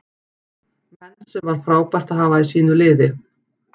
Menn sem var frábært að hafa í sínu liði.